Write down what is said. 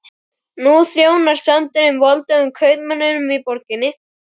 Nú þjónar sandurinn voldugum kaupmönnunum í borginni.